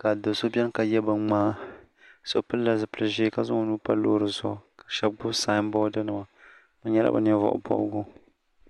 ka do so beni ka ye binŋmaa so pilila zipili ʒee ka zaŋ o nuu pa loori zuɣu ka shɛba gbubi saamboodinima bɛ nyɛla bɛ Ninvuɣubɔbigu.